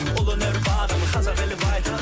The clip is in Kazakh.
ұлы өнер бағым қазақ елі бай тұрады